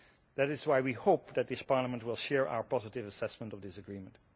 That is why we hope that this Parliament will share our positive assessment of this agreement.